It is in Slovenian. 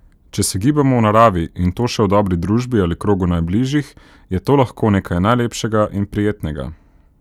Če se gibamo v naravi, in to še v dobri družbi ali v krogu najbližjih, je to lahko nekaj najlepšega in prijetnega.